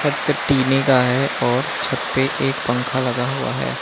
छत टीने का है और छत पे एक पंखा लगा हुआ है।